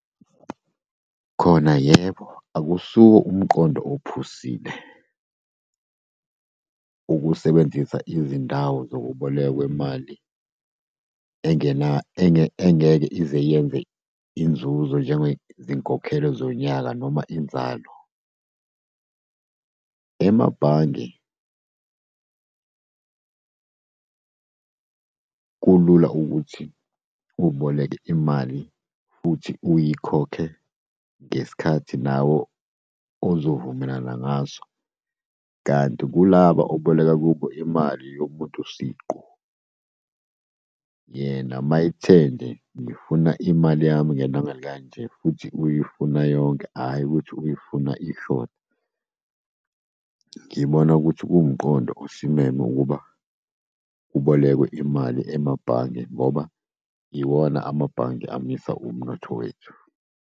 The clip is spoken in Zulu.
Khona yebo, akusiwo umqondo ophusile ukusebenzisa izindawo zokubolekwa kwemali engeke ize iyenze inzuzo njengezinkokhelo zonyaka noma inzalo. Emabhange kulula ukuthi uboleke imali futhi uyikhokhe ngesikhathi nawe ozovumelana ngaso. Kanti kulaba uboleka kubo imali yomuntu siqu, yena uma ethe nje, ngifuna imali yami ngelanga elikanje futhi uyifuna yonke, hhayi ukuthi uyifuna ishoda. Ngibona ukuthi kuwumqondo osimeme ukuba kubolekwe imali emabhange, ngoba iwona amabhange amisa umnotho wethu.